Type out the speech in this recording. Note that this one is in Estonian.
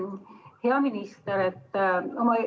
Hea minister!